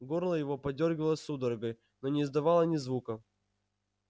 горло его подёргивалось судорогой но не издавало ни звука